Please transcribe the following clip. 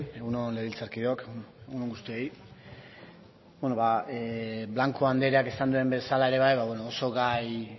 egun on legebiltzarkideok egun on guztioi beno ba blanco andreak esan duen bezala ere bai ba beno oso gai